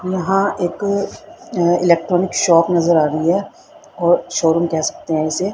यहां एक अ इलेक्ट्रॉनिक शॉप नजर आ रही है और शोरूम कह सकते हैं इसे--